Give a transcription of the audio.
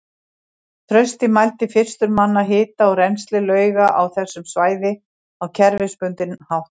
Trausti mældi fyrstur manna hita og rennsli lauga á þessu svæði á kerfisbundinn hátt.